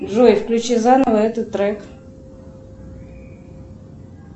джой включи заново этот трек